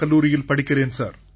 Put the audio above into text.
கல்லூரியில் படிக்கிறேன் சார்